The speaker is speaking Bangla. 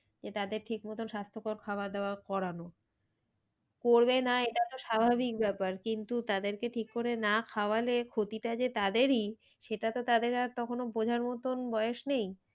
যে তাদের ঠিক মতো স্বাস্থ্যকর খাওয়া দাওয়া করানো। করবে না এটা তো স্বাভাবিক ব্যাপার কিন্তু তাদেরকে ঠিক করে না খাওয়ালে ক্ষতিটা যে তাদেরই সেটা তো তাদের আর তখনও বোঝার মতন বয়েস নেই।